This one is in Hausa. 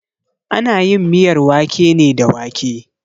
Ana yin miyar wake ne da wake.